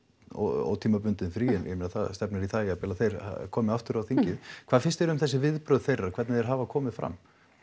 ótímabundið frí en ég meina það stefnir í það jafnvel að þeir komi aftur á þingið hvað finnst þér um þessi viðbrögð þeirra hvernig þeir hafa komið fram